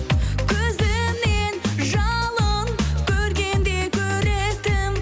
көзімнен жалын көргенде көріктім